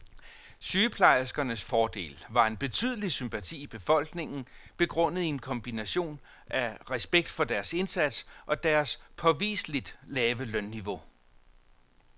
Sygeplejerskernes fordel var en betydelig sympati i befolkningen, begrundet i en kombination af respekt for deres indsats, og deres påviseligt lave lønniveau.